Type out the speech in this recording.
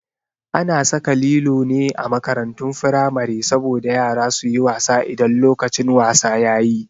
A na saka lilo ne a makarantun firamare saboda yara su yi wasa idan lokacin wasa yayi